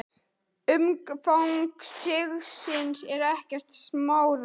Umfang sigsins er ekkert smáræði.